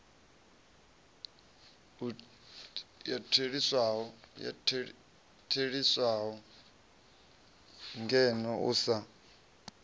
u theliswaho ngeno u sa